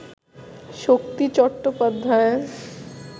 Shakti Chattopadhyay